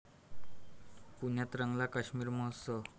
पुण्यात रंगला काश्मीर महोत्सव